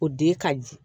O den ka jugu